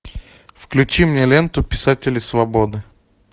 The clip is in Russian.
включи мне ленту писатели свободы